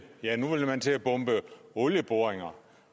ja nu vil man til at bombe olieboringer